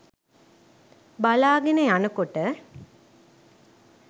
බලාගෙන යනකොට